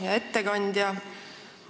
Hea ettekandja!